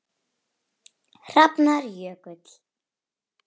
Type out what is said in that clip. Hrafnar Jökull.